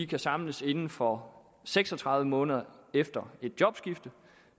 kan samles inden for seks og tredive måneder efter et jobskift